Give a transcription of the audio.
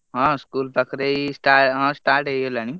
ହଁ school ପାଖରେ ଏଇ ହଁ start ହେଇଗଲାଣି।